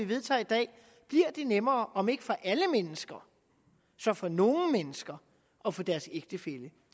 vedtager i dag bliver det nemmere om ikke for alle mennesker så for nogle mennesker at få deres ægtefælle